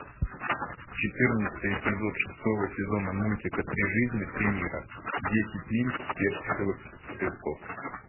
четырнадцатый эпизод шестого сезона мультика три жизни три мира десять миль персиковых цветков